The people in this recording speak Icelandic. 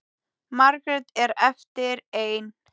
Margrét er eftir ein.